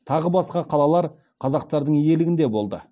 тағы басқа қалалар қазақтардың иелігінде болды